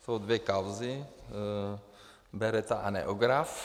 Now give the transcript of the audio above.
Jsou dvě kauzy - Beretta a Neograph.